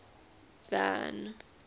van